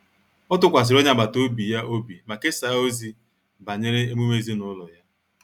Ọ tụkwasịrị onye agbata obi ya obi ma kesaa ozi banyere emume ezinụlọ ya